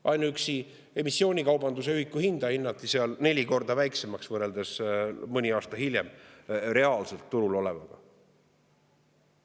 Ainuüksi emissioonikaubanduse ühiku hinda hinnati seal neli korda väiksemaks võrreldes mõni aasta hiljem reaalselt turul olevaga.